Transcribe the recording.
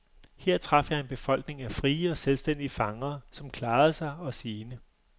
Her traf jeg en befolkning af frie og selvstændige fangere, som klarede sig og sine.